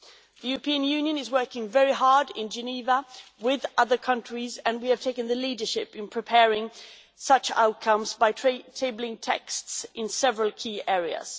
The European Union is working very hard in Geneva with other countries and we have taken the leadership in preparing such outcomes by tabling texts in several key areas.